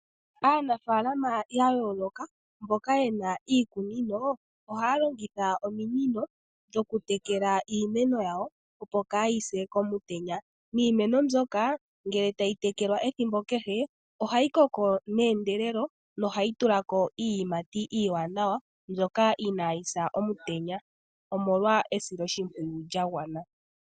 Aanafalama ya yooloka, mboka ye na iikunino ohaya longitha ominino dhokutekela iimeno yawo, opo kaayi se komutenya. Niimeno mbyoka ngeke tayi tekelwa ethimbo kehe ohayi koko neendelelo nohayi tula ko iiyimati iiwanawa mbyoka inayi sa omutenya omolwa esiloshimpwiyu lya gwana.